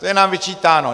To je nám vyčítáno.